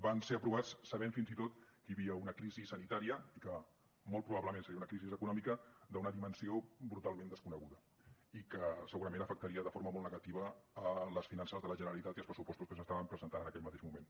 van ser aprovats sabent fins i tot que hi havia una crisi sanitària i que molt probablement seria una crisi econòmica d’una dimensió brutalment desconeguda i que segurament afectaria de forma molt negativa les finances de la generalitat i els pressupostos que s’estaven presentant en aquell mateix moment